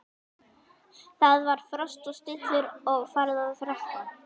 Það var frost og stillur og farið að rökkva.